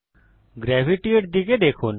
gravity এর দিকে দেখুন